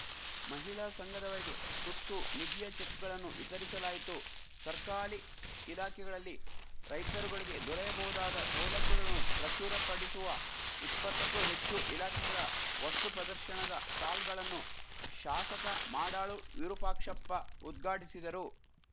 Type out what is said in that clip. ಮಹಿಳಾ ಸಂಘದವರಿಗೆ ಸುತ್ತು ನಿಧಿಯ ಚೆಕ್‌ಗಳನ್ನು ವಿತರಿಸಲಾಯಿತು ಸರ್ಕಾಲಿ ಇಲಾಖೆಗಳಲ್ಲಿ ರೈತರುಗಳಿಗೆ ದೊರೆಯಬಹುದಾದ ಸೌಲಭ್ಯಗಳನ್ನು ಪ್ರಚುರ ಪಡಿಸುವ ಇಪ್ಪತ್ತಕ್ಕೂ ಹೆಚ್ಚು ಇಲಾಖೆಗಳ ವಸ್ತು ಪ್ರದರ್ಶನದ ಸ್ಟಾಲ್‌ಗಳನ್ನು ಶಾಸಕ ಮಾಡಾಳು ವಿರೂಪಾಕ್ಷಪ್ಪ ಉದ್ಘಾಟಿಸಿದರು